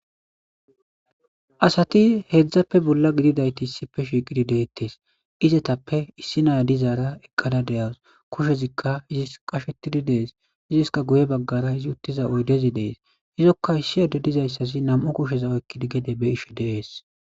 Asati hedzappe bolla gidididayti issippe shiiqidi de'etes izetappe issi na'a dizara eqqada de'awus kushezika iis qashetidi des iiska guye baggara izi uttetiza oydezi de'es izoka issi addezi dizaysazi nam'u kusheza oykidi gede be'ishe de'es.